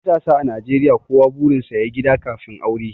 matasa a najeriya kowa burinsa ya yi gida kafin aure